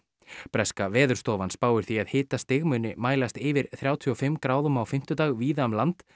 breska Veðurstofan spáir því að hitastig muni mælast yfir þrjátíu og fimm gráðum á fimmtudag víða um land